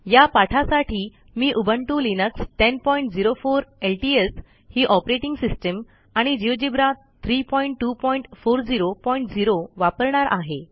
या पाठासाठी मी उबुंटू लिनक्स 1004 एलटीएस ही ऑपरेटिंग सिस्टम आणि जिओजेब्रा 32400 वापरणार आहे